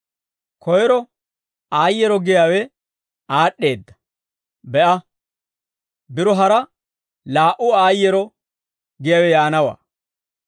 Koyro aayyeero giyaawe aad'd'eedda; be'a, biro hara laa"u aayyeero giyaawe yaanawaa.